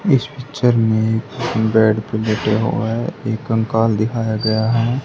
इस पिक्चर में बेड पर लेटे हुए एक कंकाल दिखाया गया है।